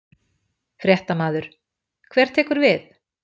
Fréttamaður: Hver tekur við?